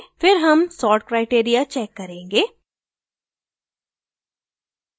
फिर हम sort criteria check करेंगे